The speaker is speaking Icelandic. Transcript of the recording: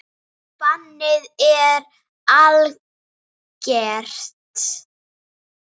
Bannið er algert.